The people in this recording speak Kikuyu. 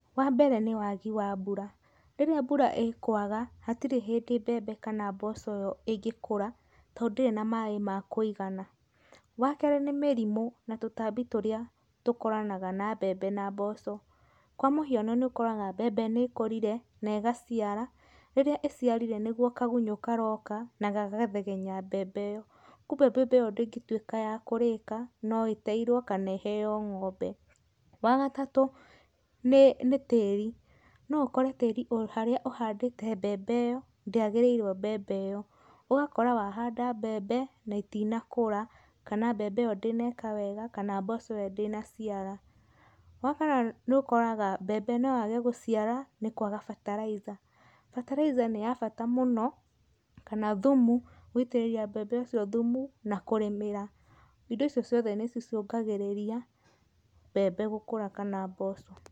Wa mbere nĩ wagi wa mbura, rĩrĩa mbura ĩkwaga hatirĩ hĩndĩ mbembe kana mboco ĩngĩkũra tondũ ndĩrĩ na maĩ ma kũigana. Wa kerĩ nĩ mĩrimũ na tũtambi tũrĩa tũkoranaga na mbembe na mboco, kwa mũhiano nĩ ũkoraga mbembe nĩ ĩkũrire na ĩgaciara, rĩrĩa ĩciarire nĩguo kagunyũ karoka na gagathegenya mbembe ĩyo kumbĩ mbembe ĩyo ndĩngĩtuĩka ya kũrĩĩka, no ĩteirwo kana ĩheo ng'ombe. Wa gatatũ nĩ tĩĩri, no ũkore tĩĩri harĩa ũhandĩte mbembe ĩyo, ndĩagĩrĩirwo mbembe ĩyo. Ũgakora wahanda mbembe na itinakũra kana mbembe ĩyo ndĩneka wega kana mboco ĩyo ndĩnaciara. Wa kana nĩ ũkoraga mbembe noyage gũciara nĩkwaga fertilizer. Fertilizer nĩ ya bata mũno kana thumu gũitĩrĩria mbembe ũcio thumu na kũrĩmĩra. Indo icio ciothe nĩcicũngagĩrĩria mbembe gũkũra kana mboco.